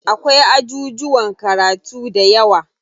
Akwai ajujuwan karatu dayawa.